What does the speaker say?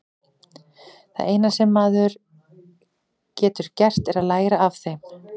Það eina sem maður getur gert er að læra af þeim.